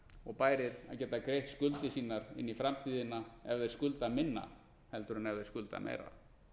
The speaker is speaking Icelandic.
og bærir að geta greitt skuldir sínar inn í framtíðina ef þeir skulda minna heldur en ef þeir skulda meira